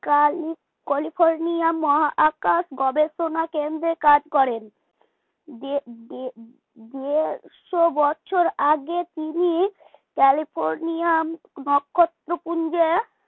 Kelly California মহাকাশ গবেষণা কেন্দ্রে কাজ করেন যে যে দেড়শ বছর আগে তিনি ক্যালিফোর্নিয়া নক্ষত্রপুঞ্জে